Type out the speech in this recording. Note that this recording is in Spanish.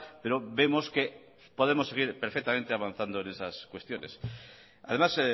pero vemos que podemos seguir perfectamente avanzando en esas cuestiones además